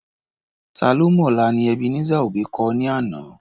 Ta ló mọ̀la ni Ebenezer Obey kọ ní àná.